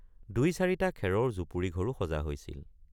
দুইচাৰিটা খেৰৰ জুপুৰি ঘৰো সজা হৈছিল।